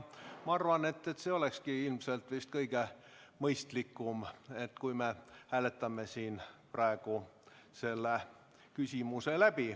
Ma arvan, et olekski ilmselt kõige mõistlikum, kui me hääletaksime selle küsimuse praegu läbi.